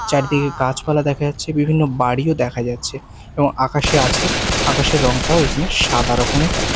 চারদিকে গাছপালা দেখা যাচ্ছে বিভিন্ন বাড়িও দেখা যাচ্ছে এবং আকাশে আছে আকাশের রঙটাও এখানে সাদা রকমের দেখা--